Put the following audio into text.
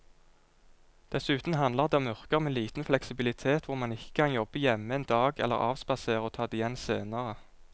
Dessuten handler det om yrker med liten fleksibilitet hvor man ikke kan jobbe hjemme en dag eller avspasere og ta det igjen senere.